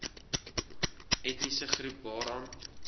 etniese groep waaraan